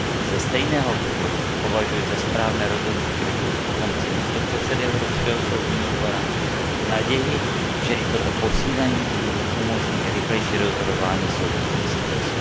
Ze stejného důvodu považuji za správné rozhodnutí vytvořit funkci místopředsedy Evropského soudního dvora v naději, že i toto posílení umožní rychlejší rozhodování soudních institucí.